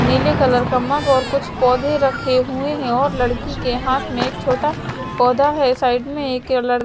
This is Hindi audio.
नीले कलर का मग और कुछ पौधे रखे हुए हैं और लड़की के हाथ में एक छोटा पौधा है साइड में एक लड़--